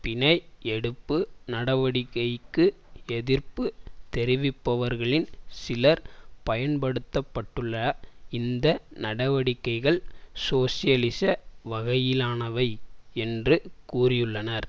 பிணை எடுப்பு நடவடிக்கைக்கு எதிர்ப்பு தெரிவிப்பவர்களில் சிலர் பயன்படுத்தப்பட்டுள்ள இந்த நடவடிக்கைகள் சோசியலிச வகையிலானவை என்று கூறியுள்ளனர்